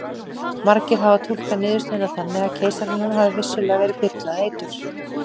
margir hafa túlkað niðurstöðuna þannig að keisaranum hafi vissulega verið byrlað eitur